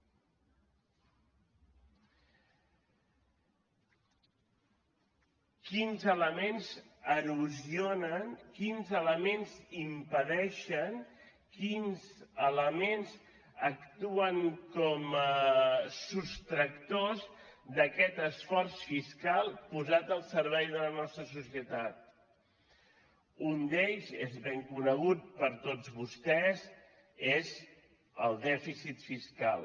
quins elements erosionen quins elements impedeixen quins elements actuen com a sostractors d’aquest esforç fiscal posat al servei de la nostra societat un d’ells és ben conegut per tots vostès és el dèficit fiscal